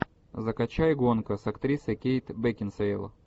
закачай гонка с актрисой кейт бекинсейл